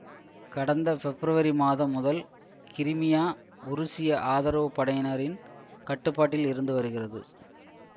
கடந்த பெப்ரவரி மாதம் முதல் கிரிமியா உருசியஆதரவுப் படையினரின் கட்டுப்பாட்டில் இருந்து வருகிறது